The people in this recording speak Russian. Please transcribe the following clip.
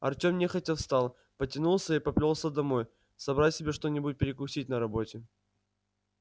артём нехотя встал потянулся и поплёлся домой собрать себе что-нибудь перекусить на работе